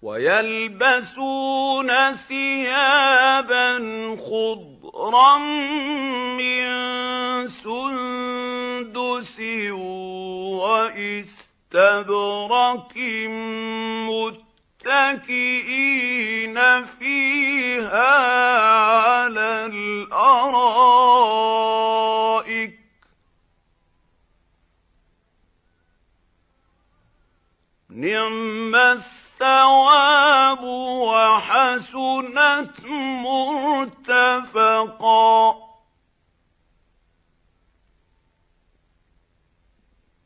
وَيَلْبَسُونَ ثِيَابًا خُضْرًا مِّن سُندُسٍ وَإِسْتَبْرَقٍ مُّتَّكِئِينَ فِيهَا عَلَى الْأَرَائِكِ ۚ نِعْمَ الثَّوَابُ وَحَسُنَتْ مُرْتَفَقًا